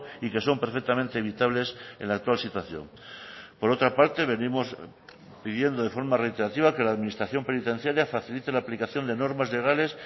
y que son perfectamente evitables en la actual situación por otra parte venimos pidiendo de forma reiterativa que la administración penitenciaria facilite la aplicación de normas legales